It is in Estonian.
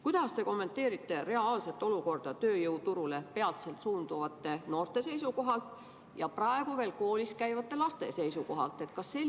Kuidas te kommenteerite reaalset olukorda peatselt tööjõuturule suunduvate noorte seisukohalt ja praegu veel koolis käivate laste seisukohalt?